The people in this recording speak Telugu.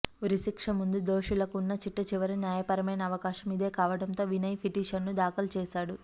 ఉరిశిక్ష ముందు దోషులకు ఉన్న చిట్టచివరి న్యాయపరమైన అవకాశం ఇదే కావడంతో వినయ్ పిటిషన్ దాఖలుచేశాడు